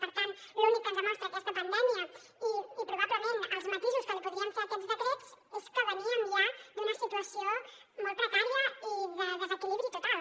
per tant l’únic que ens demostra aquesta pandèmia i probablement els matisos que podríem fer a aquests decrets és que veníem ja d’una situació molt precària i de desequilibri total